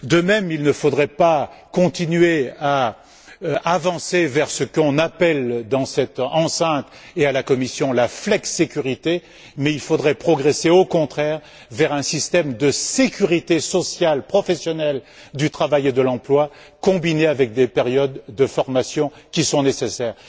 De même, il ne faudrait pas continuer à avancer vers ce qu'on appelle, dans cette enceinte et à la Commission, la flexicurité, mais il faudrait progresser au contraire vers un système de sécurité sociale professionnelle du travail et de l'emploi, associé à des périodes de formation, qui sont nécessaires.